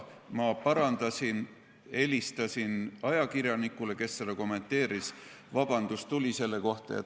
Ma parandasin seda, helistasin ajakirjanikule, kes seda kommenteeris, vabandus selle kohta tuli.